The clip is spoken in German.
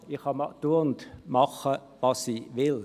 Ich kann tun und machen, was ich will.